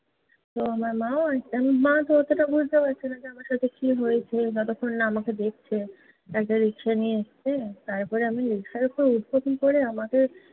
তো, আমার মাও, মা তো অতোটা বুঝতে পারছে না, আমার সাথে কী হয়েছে বা যতক্ষন না আমাকে দেখছে। একটা রিকশা নিয়ে এসছে। তারপর আমি রিকশার উপর উঠবো কী করে? আমাকে